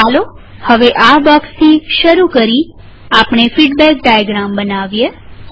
ચાલો હવે આ બ્લોક થી શરૂ કરી આપણે ફીડબેક ડાયાગ્રામ બનાવીએ